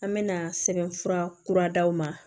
An mɛna sɛbɛnfura kura d'aw ma